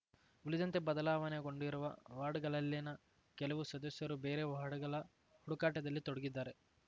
ಉಳಿದಂತೆ ಬದಲಾವಣೆಗೊಂಡಿರುವ ವಾರ್ಡ್‌ಗಳಲ್ಲಿನ ಕೆಲವು ಸದಸ್ಯರು ಬೇರೆ ವಾರ್ಡ್‌ಗಳ ಹುಡುಕಾಟದಲ್ಲಿ ತೊಡಗಿದ್ದಾರೆ